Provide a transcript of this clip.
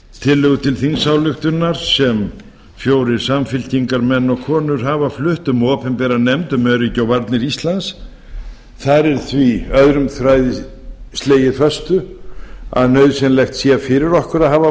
tillögu til þingsályktunar sem fjórir samfylkingarmenn og konur hafa flutt um opinbera nefnd um öryggi og varnir íslands þar er því öðrum þræði slegið föstu að nauðsynlegt sé fyrir okkur að hafa